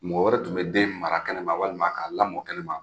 Mɔgɔ wɛrɛ tun bɛ den mara kɛnɛma walima k'a lamɔ kɛnɛma.